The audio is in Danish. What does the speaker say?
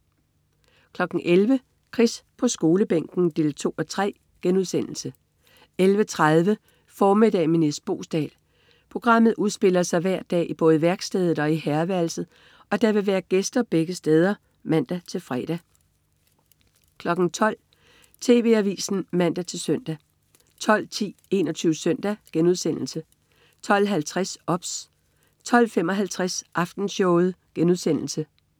11.00 Chris på Skolebænken 2:3* 11.30 Formiddag med Nis Boesdal. Programmet udspiller sig hver dag i både værkstedet og herreværelset, og der vil være gæster begge steder (man-fre) 12.00 TV Avisen (man-søn) 12.10 21 Søndag* 12.50 OBS 12.55 Aftenshowet*